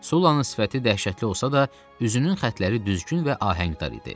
Sullanın sifəti dəhşətli olsa da, üzünün xəttləri düzgün və ahəngdar idi.